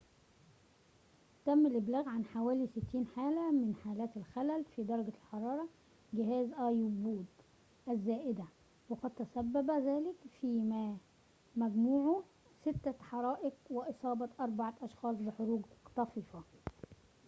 تم الإبلاغ عن حوالي 60 حالة من حالات الخلل في درجة حرارة جهاز آي بود الزائدة وقد تسبّب ذلك في ما مجموعه ستة حرائق وإصابة أربعة أشخاص بحروق طفيفة